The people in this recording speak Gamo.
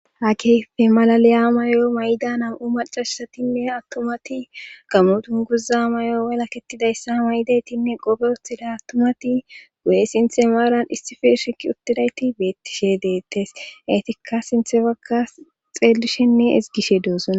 ha kefe malaliya mayo may'da nam'u macashsatinne attumati gammudun guza may'o walaketidayssa may7daytinne qofe uththida attumati guye sinthe maaran issifi shiki uttidayti beettishe deettes eetikka sinthe waggas xeelishenne ezigishe doozsonna